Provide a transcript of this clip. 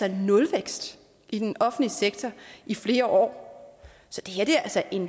en nulvækst i den offentlige sektor i flere år så det her er altså en